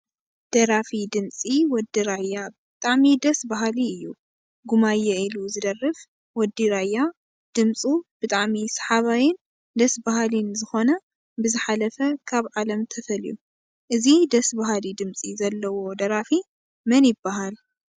ደራፊ ድምፂ ወዲ ራያ ብጣዕሚ ደስ በሃሊ እዩ፡፡ ጉማየ ኢሉ ዝደርፍ ወዲ ራያ ድምፁ ብጣዕሚ ሰሓባይን ደስ በሃሊን ዝኮነ ብዝሓለፈ ካብ ዓለም ተፈልዩ፡፡ እዚ ደስ በሃሊ ድምፂ ዘለዎ ደራፊ መን ይበሃል?